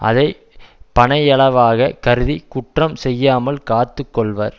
அதை பனையளவாக கருதி குற்றம் செய்யாமல் காத்து கொள்வர்